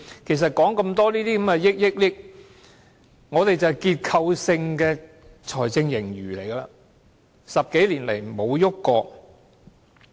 其實說了那麼多億元，我們便是有結構性財政盈餘 ，10 多年來並沒有改變過。